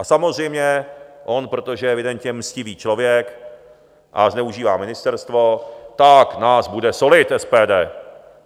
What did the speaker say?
A samozřejmě on, protože je evidentně mstivý člověk a zneužívá ministerstvo, tak nás bude solit, SPD.